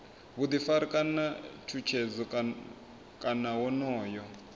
vhuḓifari kana tshutshedzo kana wonoyo